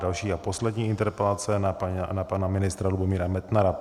Další a poslední interpelace na pana ministra Lubomíra Metnara.